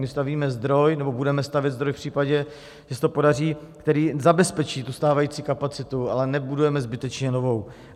My stavíme zdroj nebo budeme stavět zdroj v případě, že se to podaří, který zabezpečí tu stávající kapacitu, ale nebudujeme zbytečně novou.